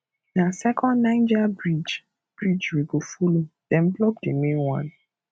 na second niger bridge bridge we go folo dem block di main one